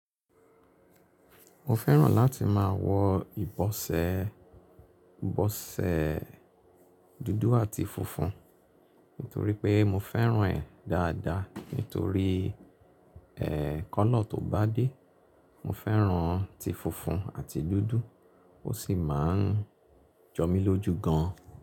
Mo fẹ́ràn láti máa wọ ìbọ̀sẹ̀, ìbọ̀sẹ̀ dúdú àti funfun nítorí pé mo fẹ́ràn ẹ̀ dáadáa. Nítorí ẹ́, kọ́lọ̀ tó bá dé, mo fẹ́ràn ti funfun àti dúdú. Ó sì máa ń jọ mi lójú gan.